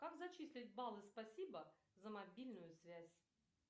как зачислить баллы спасибо за мобильную связь